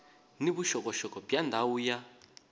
ni vuxokoxoko bya ndhawu ya